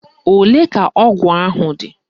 Ole ka ọgụ ahụ dị?